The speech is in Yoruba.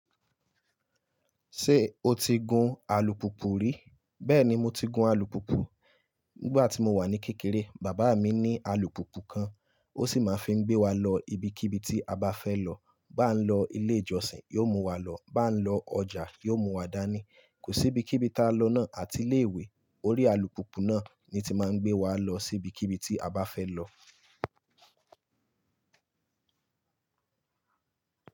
Ṣé o ti gun alùpùpù rí? Bẹ́ẹ̀ni mo ti gun alùpùpù. Nígbà tí mo wà ní kékeré, bàbá mi ní alùpùpù kan. Ó sì máa ń fi gbé wa lọ ibikíbi tí a bá fẹ́ lọ. Bá ń lọ ilé ìjọsìn, yóò mú wa lọ. Bá ń lọ ọjà, yóò mú wa dání. Kò sí ibikíbi tí a lọ ná àti ilé ìwé, orí alùpùpù náà ni tí máa ń gbé wa lọ sí ibikíbi tí a bá fẹ́ lọ.